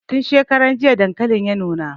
Tin shekaran jiya dankalin ya nuna